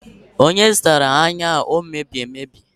onye zụtara anyụ a emebi emebi